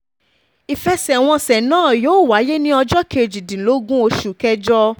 ìfẹsẹ̀wọnsẹ̀ náà yóò wáyé ní ọjọ́ kejìdínlógún oṣù kẹjọ